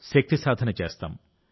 శక్తి సాధన చేస్తాం